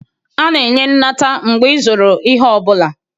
A na-enye nnata mgbe ịzụrụ ihe ọ bụla